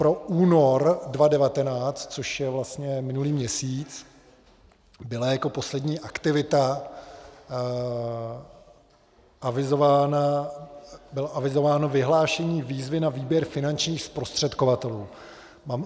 Pro únor 2019, což je vlastně minulý měsíc, bylo jako poslední aktivita avizováno vyhlášení výzvy na výběr finančních zprostředkovatelů.